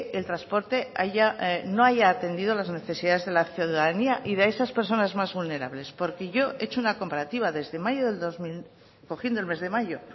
el transporte no haya atendido las necesidades de la ciudadanía y de esas personas más vulnerables porque yo he hecho una comparativa desde mayo del dos mil cogiendo el mes de mayo